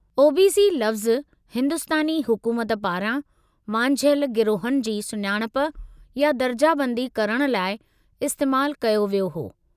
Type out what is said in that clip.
OBC. लफ़्ज़ु हिंदुस्तानी हुकूमत पारां वांझियलु गिरोहनि जी सुञाणप या दर्जाबंदी करण लाइ इस्तैमालु कयो वियो आहे।